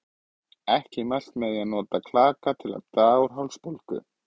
Hér má einnig benda á orðið skæðagrös sem merkir stórgerð fjallagrös.